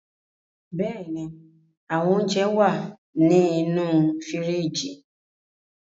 Bẹ́ẹ̀ ní, àwọn ounjẹ wà á ní inú fíríjì.